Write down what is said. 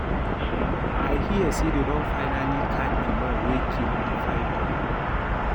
I hear say dey don finally catch the man wey kill the python